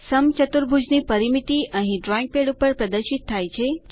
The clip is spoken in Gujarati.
સમચતુર્ભુજની પરિમિતિ અહીં ડ્રોઈંગ પેડ ઉપર પ્રદર્શિત થાય છે